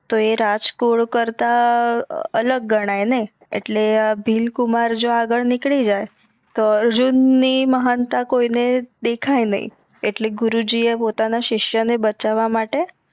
તો અ રાજગુરુ કરતાં અ અલગ ગણાઈને આટલે આ ભીલકુમાર જો આગડ નિકડી જાય તો અર્જુન ની મહાનતા કોઈ ને દેખાઈ નઈ એટલે ગુરુજી એ પોતાના સિસ્યા ને બચાવવા માટે